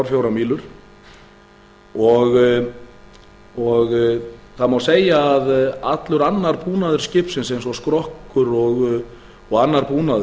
til tuttugu og fjórar mílur og það má segja að allur annar búnaður skipsins eins og skrokkur og annar búnaður